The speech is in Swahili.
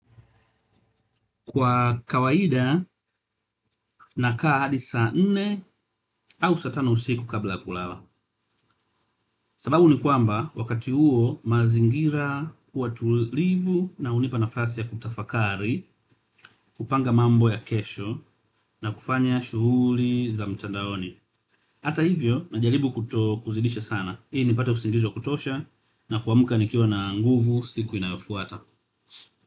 Kwa kawaida na kaa hadi saa nne au saa tano usiku kabla ya kulala. Sababu ni kwamba wakati huo mazingira huwa tulivu na hunipa nafasi ya kutafakari, kupanga mambo ya kesho na kufanya shughuli za mtandaoni. Hata hivyo na jalibu kutozidisha sana. Ili nipate usingizi wa kutosha na kuamka nikiwa na nguvu siku inayo fuata.